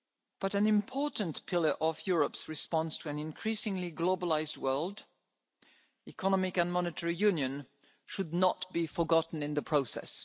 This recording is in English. at hand. But an important pillar of Europe's response to an increasingly globalised world Economic and Monetary Union should not be forgotten in the